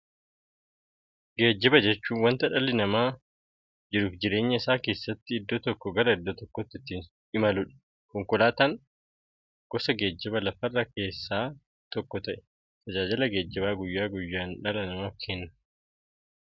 Geejjiba jechuun wanta dhalli namaa jiruuf jireenya isaa keessatti iddoo tokkoo gara iddoo birootti ittiin imaluudha. Konkolaatan gosa geejjibaa lafarraa keessaa tokko ta'ee, tajaajila geejjibaa guyyaa guyyaan dhala namaaf kenna.